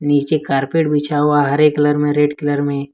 नीचे कारपेट बिछा हुआ हरे कलर में रेड कलर में।